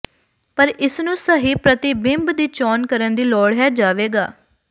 ਪਰ ਇਸ ਨੂੰ ਸਹੀ ਪ੍ਰਤੀਬਿੰਬ ਦੀ ਚੋਣ ਕਰਨ ਦੀ ਲੋੜ ਹੈ ਜਾਵੇਗਾ